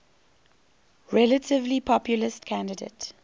relatively populist candidate